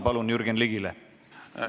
Palun, Jürgen Ligi!